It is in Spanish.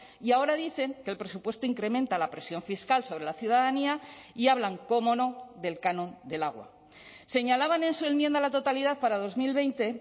y ahora dicen que el presupuesto incrementa la presión fiscal sobre la ciudadanía y hablan cómo no del canon del agua señalaban en su enmienda a la totalidad para dos mil veinte